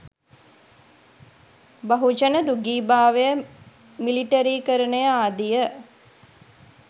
බහුජන දූගීභාවය මිලිටරිකරණය ආදිය